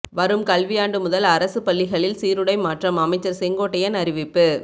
வரும் கல்வி ஆண்டு முதல் அரசு பள்ளிகளில் சீருடை மாற்றம் அமைச்சர் செங்கோட்டையன் அறிவிப்பு